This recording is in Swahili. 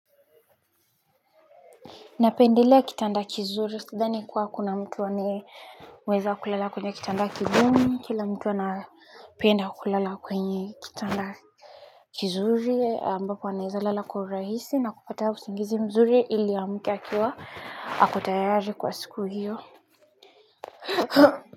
Napendelea kitanda kizuri sidhani kuwa kuna mtu aneweza kulala kwenye kitanda kigumu kila mtu anapenda kulala kwenye kitanda kizuri ambapo anaeza lala kwa urahisi na kupata usingizi mzuri ili amke akiwa ako tayari kwa siku hiyo.